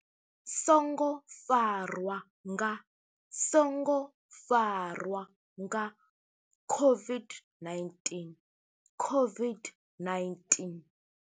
songo farwa nga, songo farwa nga COVID-19, COVID-19.